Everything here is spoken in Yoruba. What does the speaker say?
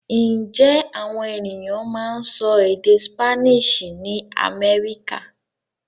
Ǹjẹ́ àwọn ènìyàn máa ń sọ èdè Spanish ní Amẹ́ríkà?